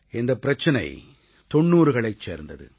இந்தப் பிரச்சனை 90களைச் சேர்ந்தது